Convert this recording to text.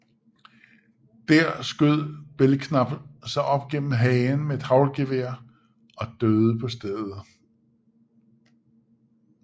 Der skød Belknap sig op gennem hagen med et haglgevær og døde på stedet